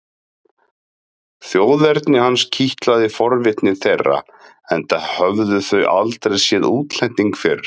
Þjóðerni hans kitlaði forvitni þeirra enda höfðu þau aldrei séð útlending fyrr.